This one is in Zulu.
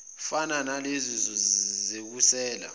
fana nalezi sekusele